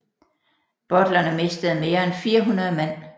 Butlerne mistede mere end 400 mand